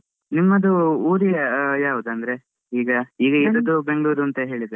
ನಿಮ್ಮದು ಊರಿಗೆ ಆಹ್ ಯಾವ್ದ್ ಅಂದ್ರೆ? ಈಗ ಈಗ ಇರುದು Bangalore ಅಂತ ಹೇಳಿದ್ರಲ್ಲ.